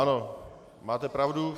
Ano, máte pravdu.